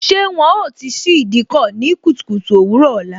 Ṣé wọn ó ti ṣí Ìdíkọ̀ ní kùtùkùtù òwúrò ọ̀la?